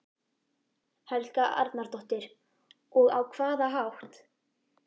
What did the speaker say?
Helga Arnardóttir: Og á hvaða hátt?